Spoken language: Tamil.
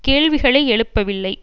கேள்விகளை எழுப்பவில்லை